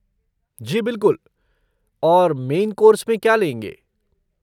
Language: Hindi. जी बिलकुल। और मेन कोर्स में क्या लेंगे?